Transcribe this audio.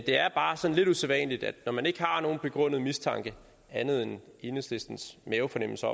er bare sådan lidt usædvanligt at når man ikke har nogen begrundet mistanke andet end enhedslistens mavefornemmelse